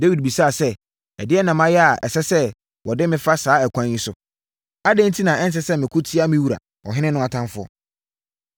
Dawid bisaa sɛ, “Ɛdeɛn na mayɛ a ɛsɛ sɛ wɔde me fa saa ɛkwan yi so? Adɛn enti na ɛnsɛ sɛ meko tia me wura ɔhene no atamfoɔ?”